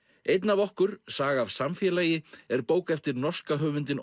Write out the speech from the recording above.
einn af okkur saga af samfélagi er bók eftir norska höfundinn